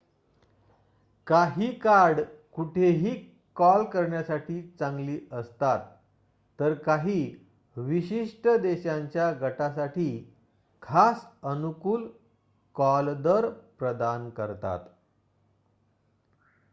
काही कार्ड कुठेही कॉल करण्यासाठी चांगली असतात तर काही विशिष्ट देशांच्या गटांसाठी खास अनुकूल कॉलदर प्रदान करतात